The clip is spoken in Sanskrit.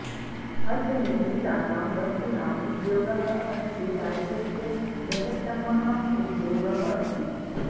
हस्तनिर्मितानां वस्तूनाम् उद्योगः अस्य राज्यस्य बृहत्तमः उद्योगः अस्ति